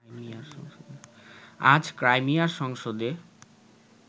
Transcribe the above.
আজ ক্রাইমিয়ার সংসদে